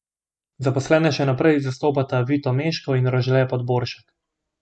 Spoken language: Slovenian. Zaposlene še naprej zastopata Vito Meško in Rožle Podboršek.